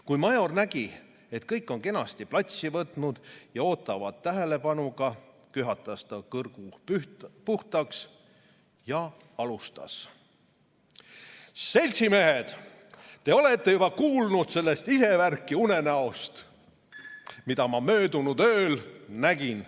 Kui Major nägi, et kõik on kenasti platsi võtnud ja ootavad tähelepanuga, köhatas ta kurgu puhtaks ja alustas: "Seltsimehed, te olete juba kuulnud sellest isevärki unenäost, mida ma möödunud ööl nägin.